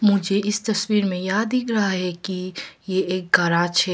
मुझे इस तस्वीर में यह दिख रहा है कि ये एक गराज है।